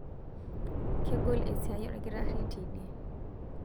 kegol esiai olkitarri teidie